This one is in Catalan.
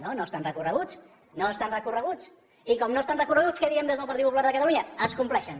no estan recorreguts no estan recorreguts i com que no estan recorreguts què diem des del partit popular de catalunya es compleixen